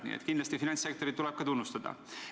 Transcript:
Nii et kindlasti finantssektorit tuleb ka tunnustada.